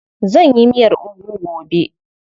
Zan yi miyar ugu gobe.